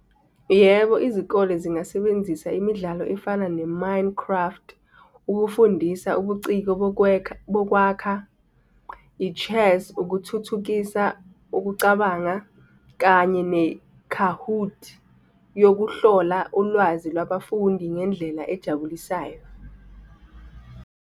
Yebo, izikole zingasebenzisa imidlalo efana ne-Minecraft, ukufundisa ubuciko bokwakha, i-Chess, ukuthuthukisa ukucabanga kanye ne-Kahoot yokuhlola ulwazi lwabafundi ngendlela ejabulisayo.